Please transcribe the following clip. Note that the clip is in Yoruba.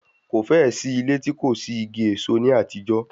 Kò fẹ́ẹ̀ sí ilé tí kò sí igi èso ní àtijọ́